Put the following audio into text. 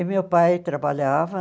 E meu pai trabalhava.